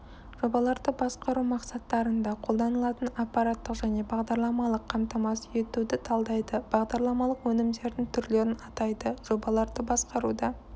жобаларды басқару мақсаттарында қолданылатын аппараттық және бағдарламалық қамтамасыз етуді талдайды бағдарламалық өнімдердің түрлерін атайды жобаларды басқаруда